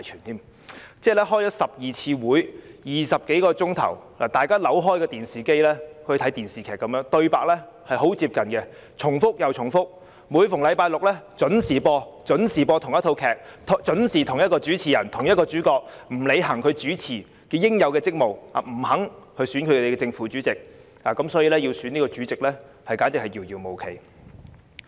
我們開了12次會議，歷時20多小時，一如大家開啟電視收看電視劇般，對白均很接近，重複又重複，每逢星期五準時播放同一套劇，由同一個人擔任主持，但卻沒有履行作為主持應有的職務，他不肯選出正、副主席，因此要選出主席，簡直是遙遙無期。